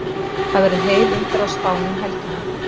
Það verður heil umferð á Spáni um helgina.